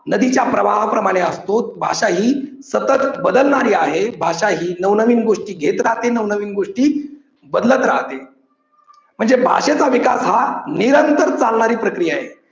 नदीच्या प्रवाह प्रमाणे असतो. भाषा ही सतत बदलणारी आहे. भाषा ही नवनवीन गोष्टी घेत राहते, नवनवीन गोष्टी बदलत राहते, म्हणजे भाषेचा विचार हा निरंतर चालणारी प्रक्रिया आहे.